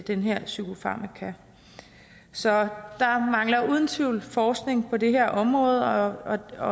den her psykofarmaka så der mangler uden tvivl forskning på det her område